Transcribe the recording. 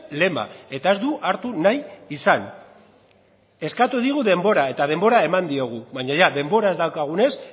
lema eta ez du hartu nahi izan eskatu digu denbora eta denbora eman diogu baina denbora ez daukagunez